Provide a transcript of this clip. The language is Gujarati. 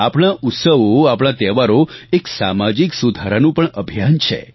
આપણા ઉત્સવો આપણા તહેવારો એક સામાજિક સુધારાનું પણ અભિયાન છે